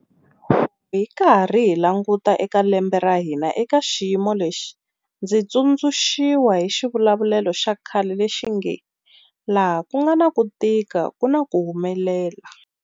Loko hi karhi hi languta eka lembe ra hina eka xiyimo lexi, ndzi tsundzuxiwa hi xivulavulelo xa khale lexi nge, laha ku nga na ku tika ku na ku humelela.